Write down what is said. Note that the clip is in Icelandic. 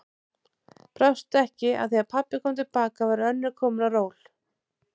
Brást ekki að þegar pabbi kom til baka var önnur komin á ról.